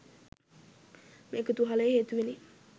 මේ කුතුහලය හේතුවෙනි